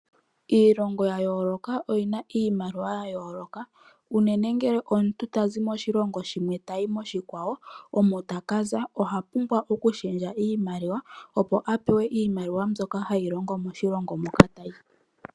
Iilongo ya yooloka oyi na iimaliwa ya yooloka unene ngele omuntu tazi moshilongo shimwe tayi moshikwawo omo taka za oha pumbwa okushendja iimaliwa opo a pewe iimaliwa mbyoka hayi longo moshilongo moka tayi.